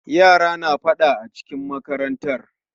Yara na faɗa acikin makarantar.